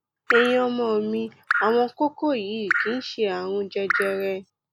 ẹyin ọmọ mi àwọn kókó yìí kì í ṣe ààrùn jẹjẹrẹ